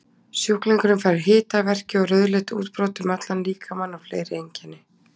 Sjúklingurinn fær hita, verki og rauðleit útbrot um allan líkamann og fleiri einkenni.